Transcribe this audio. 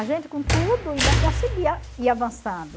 A gente, com tudo, ainda conseguia ir avançando.